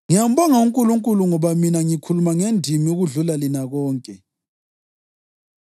Ngiyambonga uNkulunkulu ngoba mina ngikhuluma ngendimi ukudlula lina lonke.